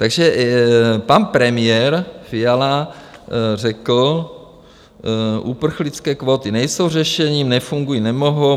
Takže pan premiér Fiala řekl: Uprchlické kvóty nejsou řešením, nefungují, nemohou.